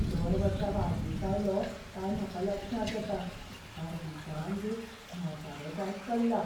दर वर्सा वाडदीस आयलो काय म्हाका लक्षांत येता, हांव दिसान दीस म्हातारो जायत चल्लां.